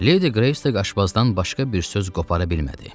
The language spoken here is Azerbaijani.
Ledi Greystək aşbazdan başqa bir söz qopara bilmədi.